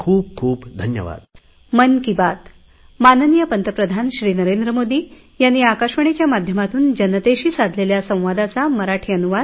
खूपखूपधन्यवाद